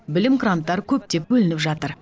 білім гранттары көптеп бөлініп жатыр